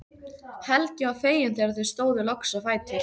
Helgi var feginn þegar þau stóðu loks á fætur.